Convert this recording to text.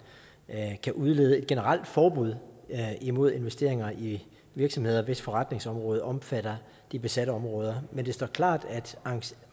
kan udlede et generelt forbud imod investeringer i virksomheder hvis forretningsområde omfatter de besatte områder men det står klart